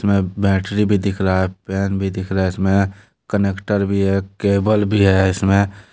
इसमें बैटरी भी दिख रहा है पेन भी दिख रहा है इसमें कनेक्टर भी है केबल भी है इसमें।